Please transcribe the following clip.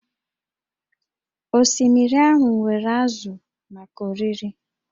Osimiri ahụ nwere ázụ̀ maka oriri